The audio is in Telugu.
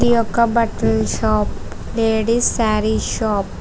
ఇది ఒక బట్టల షాప్ లేడీస్ శారీస్ షాప్ .